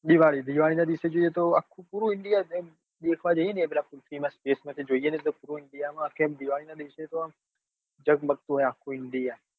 દિવાળી દિવાળીનો દિવસ જોઈએ તો આખું પૂરું india એમ દેખાવા જઈએ ને પેલા ખુરશી ના stage પાસે જોઈ ને તો પૂરો india મમા આખી દિવાળી નાં દિવસે તો આમ જગમગતું હોય આખું india